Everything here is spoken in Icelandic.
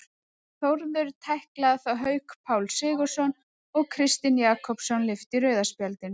Þórður tæklaði þá Hauk Pál Sigurðsson og Kristinn Jakobsson lyfti rauða spjaldinu.